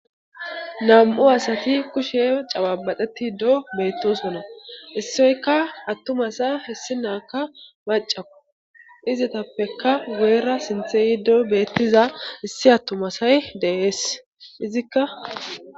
Nam7u asati kushe cababaxeti do beettosonna issoyka attumasa hessi naaka macaku izitappeka goyra sinthe yiddo beettiza issi attumasay deees izikka.